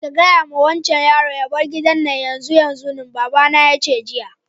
Gaya ma wancan yaron ya bar gida na yanzun nan! baba na ya ce jiya.